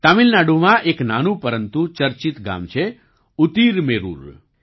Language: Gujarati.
તામિલનાડુમાં એક નાનું પરંતુ ચર્ચિત ગામ છે ઉતિરમેરૂર